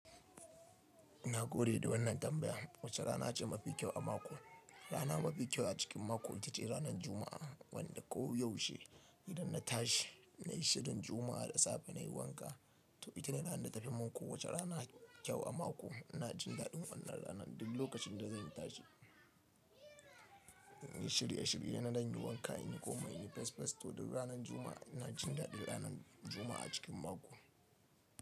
Nagode da wannan tambaya. Wace rana ce mafi kyau a mako? Rana mafi kyau a cikin mako ita ce ranan Juma'a, wanda ko yaushe idan na tashi nayi shirin Juma'a da safe nayi wanka. To itane ranar da tafi mun kowacce rana kyau a mako. Ina jin daɗin wannan ranar, duk lokacin da zan tashi, inyi shirye in danyi wanka inyi komai inyi fes fes toh duk ranar juma'a inajin daɗin juma'a a cikin mako.